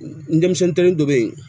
N denmisɛn kelen dɔ bɛ yen